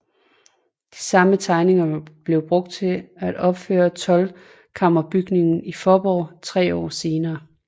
De samme tegninger blev brugt til at opføre toldkammerbygning i Faaborg tre år senere